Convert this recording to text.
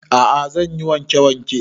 A'a zan yi wanke wanke